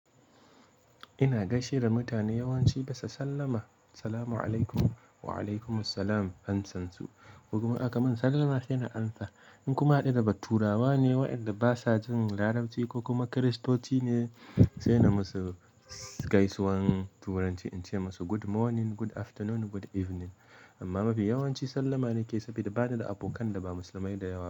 Ina gashina mutane yawanci gasa sallama "Salamu alaikum, wa alaikumussalam" amsansu. Ko kuma aka min sallama sai na amsa. In kuma ya haɗu da turawa ne waɗanda basa jin Larabci ko kuma Kiristoci ne, sai na musu gaisuwan turanci in ce musu "Good morning, good afternoon, good evening". Amma mafi yawanci sallama na ke, sabida ba ni da abokan da ba Musulmai da yawa.